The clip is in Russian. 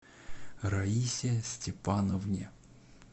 раисе степановне